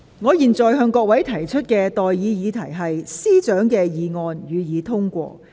我現在向各位提出的待議議題是：律政司司長動議的議案，予以通過。